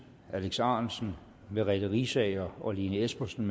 alex ahrendtsen merete riisager og lene espersen